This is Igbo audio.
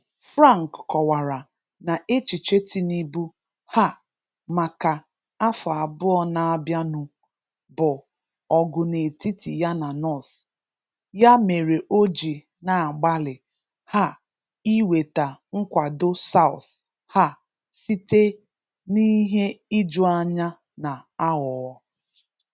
Frank kọwara na echiche Tinubu um maka afọ abụọ na abianu bụ ọgụ n’etiti ya na North, ya mere o ji na-agbalị um inweta nkwado South um site n’ihe ijuanya na aghụghọ